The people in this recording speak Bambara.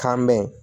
Kan bɛ yen